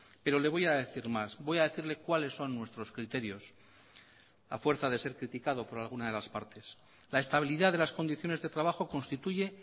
pero le voy a decir más voy a decirle cuáles son nuestros criterios a fuerza de ser criticado por alguna de las partes la estabilidad de las condiciones de trabajo constituye